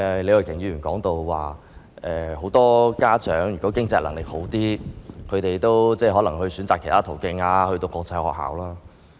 李慧琼議員剛才提到，很多家長如果經濟能力較好，可能會選擇其他途徑，讓子女讀國際學校。